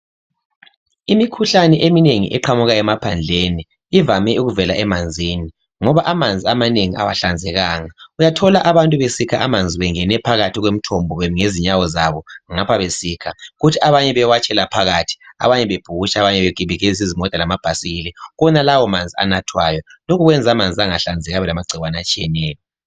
Imikhuhlane eminengi eqhamuka emaphandleni ivame ukuvela emanzini ngoba amanzi amanengi awahlanzekanga. Uyathola abantu besikha amanzi bengene phakathi kwemithombo bemi ngezinyawo zabo ngapha besikha kuthi abanye bewatshela phakathi, abanye bebhukutsha abanye bekibikeza izimota lamabhayisikili kuwonalawo amanzi anathwayo. Lokho kwenza amanzi angahlanzeki abe lamagciwane atshiyeneyo.